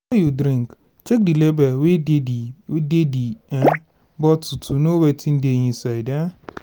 you drink check di label wey dey di wey dey di um bottle to know wetin dey inside um